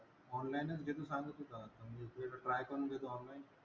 Online च जे तू सांगत होतास म्हणजे ते try करून घेतो एकदा online.